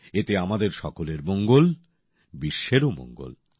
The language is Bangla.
এতে আমাদের সকলের মঙ্গল বিশ্বেরও মঙ্গল